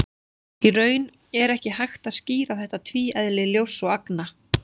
Í raun er ekki hægt að skýra þetta tvíeðli ljóss og agna.